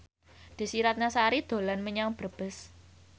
Desy Ratnasari dolan menyang Brebes